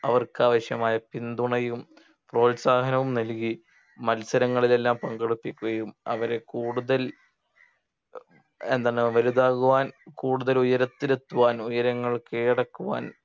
അവർക്ക് ആവശ്യമായ പിന്തുണയും പ്രോത്സാഹനവും നൽകി മത്സരങ്ങളിൽ എല്ലാം പങ്കെടുപ്പിക്കുകയും അവരെ കൂടുതൽ ഏർ എന്താണ് വലുതാകുവാൻ കൂടുതൽ ഉയരത്തിൽ എത്തുവാൻ ഉയരങ്ങൾ കീഴടക്കുവാൻ